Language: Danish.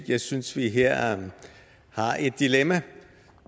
jeg synes vi her har et dilemma